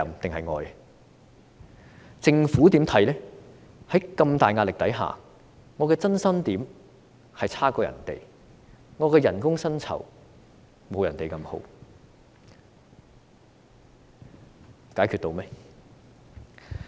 在如此大的壓力下，我的增薪點比別人差，我的薪酬不及別人好，解決到問題嗎？